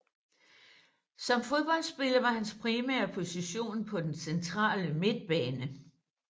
Som fodboldspiller var hans primære position på den centrale midtbane